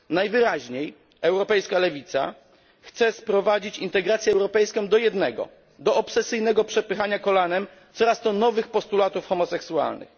Najwyraźniej europejska lewica chce sprowadzić integrację europejską do jednego obsesyjnego przepychania kolanem coraz to nowszych postulatów homoseksualnych.